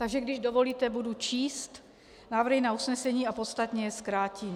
Takže, když dovolíte, budu číst návrhy na usnesení a podstatně je zkrátím.